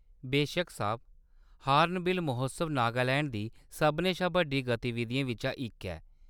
बेशक्क साह्‌‌ब ! हार्नबिल महोत्सव नागालैंड दी सभनें शा बड्डी गतिविधियें बिच्चा इक ऐ।